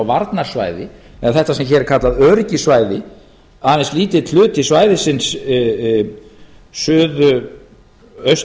varnarsvæði eða þetta sem hér er kallað öryggissvæði aðeins lítill hluti svæðisins suðaustan við eða hvar